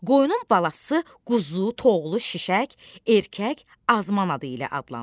Qoyunun balası quzu, toğlu, şişək, erkək, azman adı ilə adlanır.